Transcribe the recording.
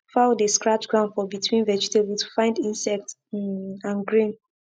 fowl dey scratch ground for between vegetable to find insect um and grain